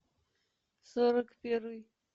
сорок первый